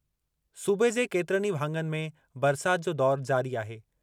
सूबे जे केतिरनि ई भाङनि में बरसाति जो दौरु जारी आहे।